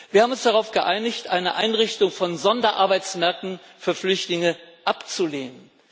Wir haben uns darauf geeinigt, eine Einrichtung von Sonderarbeitsmärkten für Flüchtlinge abzulehnen.